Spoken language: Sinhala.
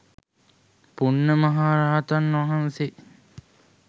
පුණ්ණ මහ රහතන් වහන්සේ